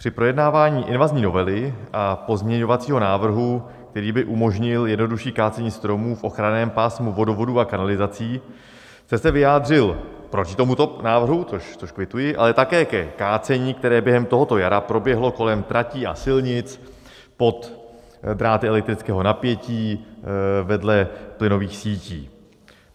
Při projednávání invazní novely a pozměňovacího návrhu, který by umožnil jednodušší kácení stromů v ochranném pásmu vodovodů a kanalizací, jste se vyjádřil proti tomuto návrhu, což kvituji, ale také ke kácení, které během tohoto jara proběhlo kolem tratí a silnic, pod dráty elektrického napětí, vedle plynových sítí.